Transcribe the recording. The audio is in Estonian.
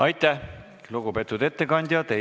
Aitäh, lugupeetud ettekandja!